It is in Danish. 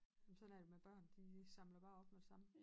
Jamen sådan er det med børn de samler bare op med det samme